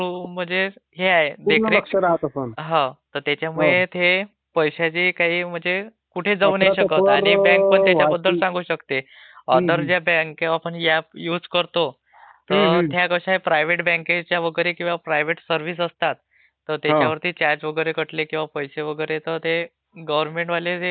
हो तर याच्यामध्ये हे पैशाचे काही म्हणजे कुठे जाऊ नाही शकत आणि आणि बँक पण त्याच्याबद्दल सांगू शकतो. अदर ज्या बँक किंवा एप आपण युज करतो त्या कशा प्रायव्हेट बँकच्या वगैरे किंवा प्रायव्हेट सर्व्हिसेस असतात तर त्याच्या वरती चार्ज वगैरे कटले किंवा पैसे वगैरे तर ते गव्हर्नमेंटवाले किंवा बँक वाले त्यांच्यावर लागू करत नाहीत नियम